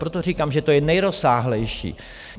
Proto říkám, že to je nejrozsáhlejší.